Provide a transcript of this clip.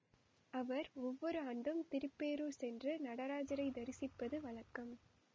அவர் ஒவ்வொரு ஆண்டும் திருப்பேரூர் சென்று நடராஜரை தரிசிப்பது வழக்கம்